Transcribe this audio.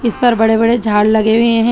इस पर बड़े बड़े झाड़ लगे हुए हैं।